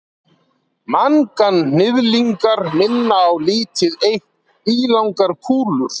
Manganhnyðlingar minna á lítið eitt ílangar kúlur.